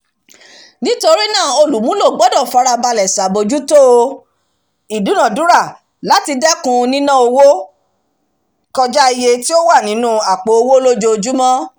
nítorí náà olùmúlò gbọ́dọ̀ farabalẹ̀ ṣàbójútó ìdúnadúrà láti dẹkùn nínà owó kọjá iye tí ó wà nínú àpò owó lójoojúmọ̀